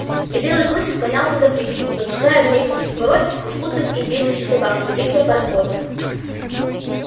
и белый клык слонялся по пристани поджидая вместе со сворой беспутных индейских собак прибытия пароходов